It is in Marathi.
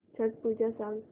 छट पूजा सांग